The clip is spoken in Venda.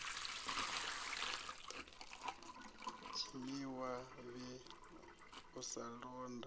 dzimiwa vndi u sa londa